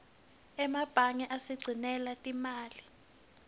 emebange asigcinela timali